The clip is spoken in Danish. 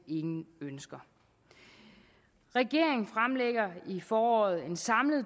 ingen ønsker regeringen fremlægger i foråret en samlet